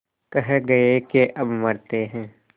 कह गये के अब मरते हैं